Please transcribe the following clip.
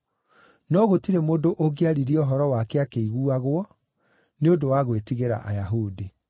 No gũtirĩ mũndũ ũngĩaririe ũhoro wake akĩiguagwo nĩ ũndũ wa gwĩtigĩra Ayahudi.